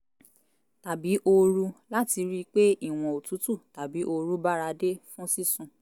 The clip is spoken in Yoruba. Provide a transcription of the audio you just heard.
tàbí ooru láti rí i pé ìwọ̀n òtútù tàbí ooru báradé fún sísùn